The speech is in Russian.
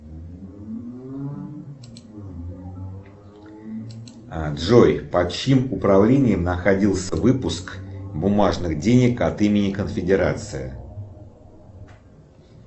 джой под чьим управлением находился выпуск бумажных денег от имени конфедерации